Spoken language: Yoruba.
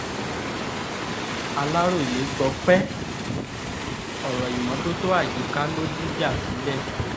aláròye gbọpẹ́ ọ̀rọ̀ ìmọ́tótó àyíká ló dìjà sílẹ̀